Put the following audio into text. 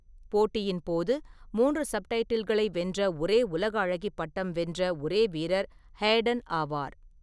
போட்டியின் போது மூன்று சப்டைட்டில்களை வென்ற ஒரே உலக அழகி பட்டம் வென்ற ஒரே வீரர் ஹேடன் ஆவார்.